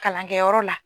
Kalankɛyɔrɔ la